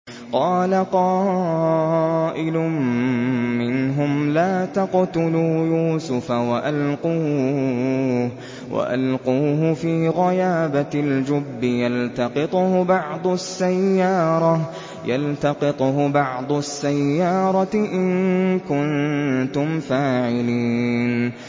قَالَ قَائِلٌ مِّنْهُمْ لَا تَقْتُلُوا يُوسُفَ وَأَلْقُوهُ فِي غَيَابَتِ الْجُبِّ يَلْتَقِطْهُ بَعْضُ السَّيَّارَةِ إِن كُنتُمْ فَاعِلِينَ